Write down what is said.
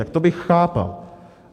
Tak to bych chápal.